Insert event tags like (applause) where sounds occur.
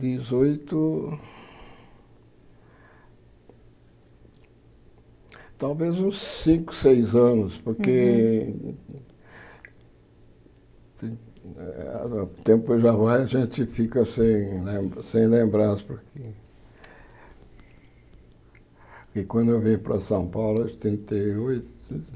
Dezoito... Talvez uns cinco, seis anos, porque... O tempo já vai e a gente fica sem sem lembrar, porque... Porque quando eu vim para São Paulo, (unintelligible) oitenta e oito...